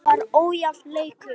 Það var ójafn leikur.